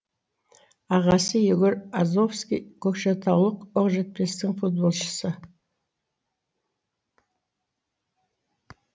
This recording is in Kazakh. ағасы егор азовский көкшетаулық оқжетпестің футболшысы